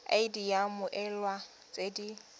id ya mmoelwa tse di